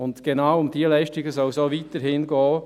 Genau um diese Leistungen soll es auch weiterhin gehen.